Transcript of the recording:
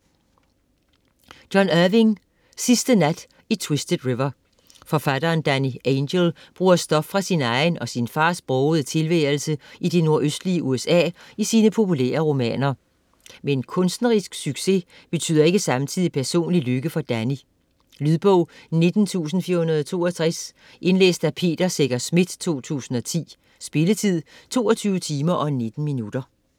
Irving, John: Sidste nat i Twisted River Forfatteren Danny Angel bruger stof fra sin egen og sin fars brogede tilværelse i det nordøstlige USA i sine populære romaner. Men kunstnerisk succes betyder ikke samtidig personlig lykke for Danny. Lydbog 19462 Indlæst af Peter Secher Schmidt, 2010. Spilletid: 22 timer, 19 minutter.